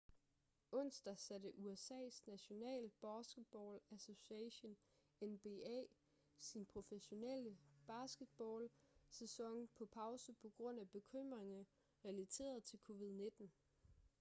onsdag satte usas national basketball association nba sin professionelle basketball-sæson på pause på grund af bekymringer relateret til covid-19